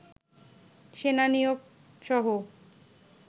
সেনা নিয়োগ সহ